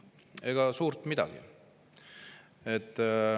Ega suurt midagi.